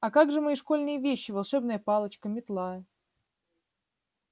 а как же мои школьные вещи волшебная палочка метла